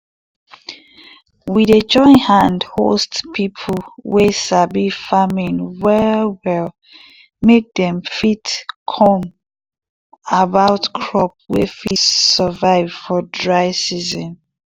we dey join hand host people wey sabi farming well well make dem fit come about crop wey fit survive for dry season.